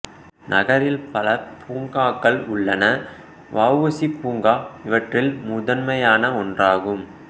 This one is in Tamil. நகரில் பல பூங்காக்கள் உள்ளன வ உ சி பூங்கா இவற்றில் முதன்மையான ஒன்றாகும்